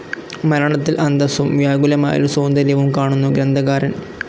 മരണത്തിൽ അന്തസ്സും വ്യാകുലമായൊരു സൌന്ദര്യവും കാണുന്നു ഗ്രന്ഥകാരൻ.